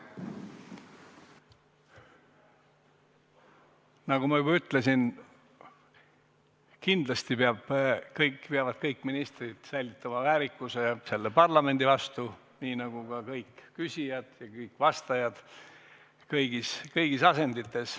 Nagu ma juba ütlesin, kindlasti peavad kõik ministrid säilitama väärikuse selle parlamendi vastu nii nagu ka kõik küsijad ja kõik vastajad kõigis asendites.